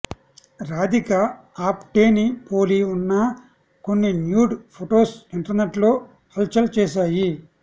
రాధిక ఆప్టేని పోలి ఉన్నా కొన్ని న్యూడ్ ఫొటోస్ ఇంటర్నెట్ లో హాల్ చల్ చేశాయి